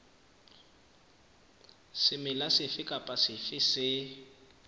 semela sefe kapa sefe se